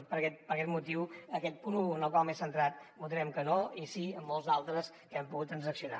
i per aquest motiu en aquest punt un en el qual m’he centrat votarem que no i sí en molts d’altres que hem pogut transaccionar